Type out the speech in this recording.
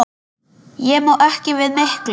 Ég má ekki við miklu.